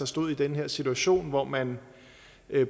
stod i den her situation hvor man